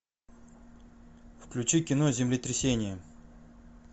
включи кино землетрясение